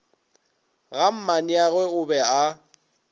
ga mmaneagwe o be a